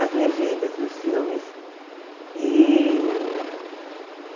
As legendas dos filmes. E